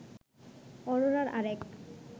অরোরার আর এক